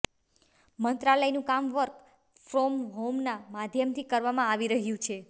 મંત્રાલયનું કામ work from હોમના માધ્યમથી કરવામાં આવી રહ્યું છે